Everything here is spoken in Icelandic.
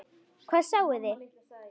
Hvað sáuði?